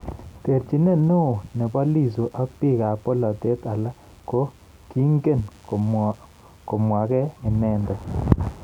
Terchinet neo nebo Lissu ak biik ab bolotet alaak ko kiingen komwagei inendet